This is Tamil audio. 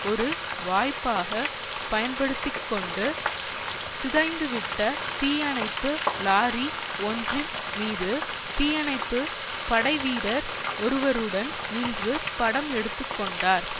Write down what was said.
ஒரு வாய்ப்பாக பயன்படுத்தி கொண்டு சிதைந்துவிட்ட தீயணைப்பு லாரி ஒன்றின் மீது தீயணைப்பு படைவீரர் ஒருவருடன் நின்று படம் எடுத்து கொண்டார்